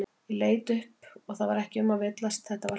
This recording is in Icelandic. Ég leit upp það var ekki um að villast, þetta var hann.